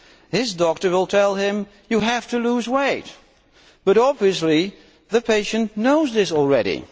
His doctor will tell him you have to lose weight', but obviously the patient knows this already.